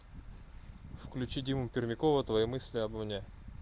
включи диму пермякова твои мысли обо мне